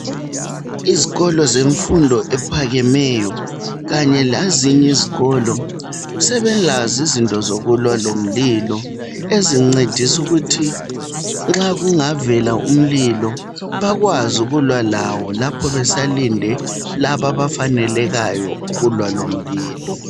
Izikolo zemfundo ephakemeyo, kanye lezinye izikolo, sebelazo izinto zokulwa lomlilo. Ezincedisa ukuthi nxa kungavela umlilo, bakwazi ukulwa lawo. Lapho besalinde, labo abafanelekayo, ukulwa lomlilo.